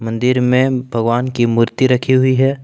मंदिर में भगवान की मूर्ति रखी हुई है।